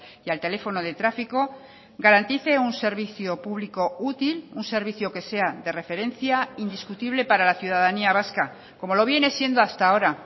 y al teléfono de tráfico garantice un servicio público útil un servicio que sea de referencia indiscutible para la ciudadanía vasca como lo viene siendo hasta ahora